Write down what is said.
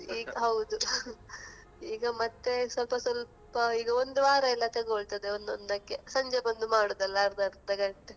ಹಾಂ ಹೌದು . ಈಗ ಮತ್ತೆ ಸ್ವಲ್ಪ ಸ್ವಲ್ಪ ಈಗ ಒಂದು ವಾರಯೆಲ್ಲ ತೆಗೋಳ್ತದೆ ಒಂದೊಂದಕ್ಕೆ ಸಂಜೆ ಬಂದು ಮಾಡುವುದಲಾ ಅರ್ದ ಅರ್ಧ ಗಂಟೆ.